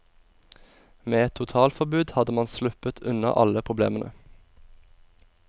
Med et totalforbud hadde man sluppet unna alle problemene.